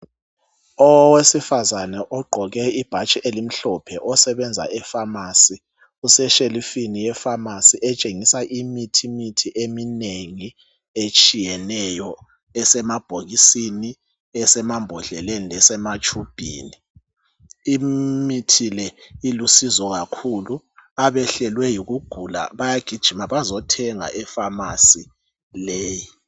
Owesifazana ogqoke ibhatshi elimhlophe osebenza efamasi useshelifini yefamasi etshengisa imithi mithi eminengi etshiyeneyo esemabhokisini, esemambodleleni lesematshubhini. Imithi le ilusizo kakhulu abehlelwe yikugula bayagijima bazothenga efamasi leyii.